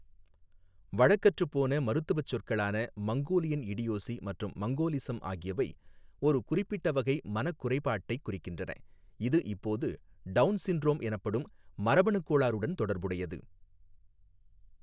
வழக்கற்றுப் போன மருத்துவச் சொற்களான மங்கோலியன் இடியோசி மற்றும் மங்கோலிசம் ஆகியவை ஒரு குறிப்பிட்ட வகை மனக் குறைபாட்டைக் குறிக்கின்றன, இது இப்போது டவுன் சிண்ட்ரோம் எனப்படும் மரபணுக் கோளாறுடன் தொடர்புடையது.